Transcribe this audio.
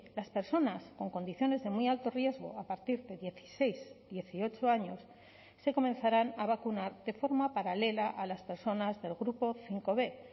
las personas con condiciones de muy alto riesgo a partir de dieciséis dieciocho años se comenzarán a vacunar de forma paralela a las personas del grupo cinco b